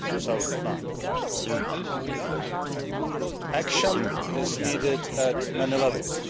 2009. Action is needed at many levels.